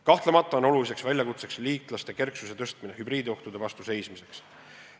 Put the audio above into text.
Kahtlemata on oluline väljakutse liitlaste kerksuse tõstmine hübriidohtudele vastu seismiseks.